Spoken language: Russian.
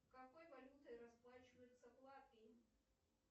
какой валютой расплачиваются в латвии